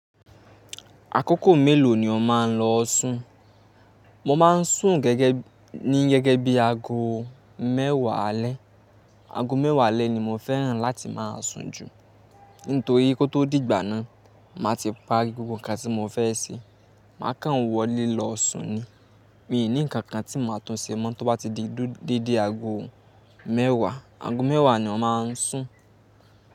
Àkókò mélòó ni o máa ń lọ sùn? Mo má ń sùn gẹ́gẹ́ ní gẹ́gẹ́ bí aago mẹ́wàá alẹ́. Aago mẹ́wàá alẹ́ ni mo fẹ́ràn láti má a sùn jù. Nítorí kó tó dìgbà náà, mà ti parí gbogbo nǹkan tí mo fẹ́ ṣe. Má kàn wọlé lọ sùn ni. Mi ò ní nǹkan kan tí mà tún ṣe mọ́ tó bá ti di dédé aago mẹ́wàá. Aago mẹ́wàá ni mo má ń sùn.